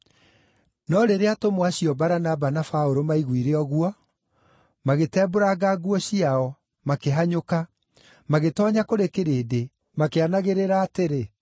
No rĩrĩa atũmwo acio Baranaba na Paũlũ maaiguire ũguo, magĩtembũranga nguo ciao, makĩhanyũka, magĩtoonya kũrĩ kĩrĩndĩ, makĩanagĩrĩra atĩrĩ,